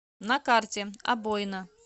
на карте обоина